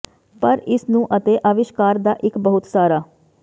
ਪਰ ਇਸ ਨੂੰ ਅਤੇ ਅਵਿਸ਼ਕਾਰ ਦਾ ਇੱਕ ਬਹੁਤ ਸਾਰਾ